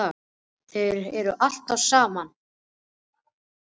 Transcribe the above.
Þeir eru alltaf saman hann og Kiddi.